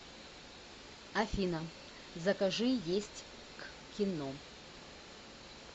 афина закажи есть к кино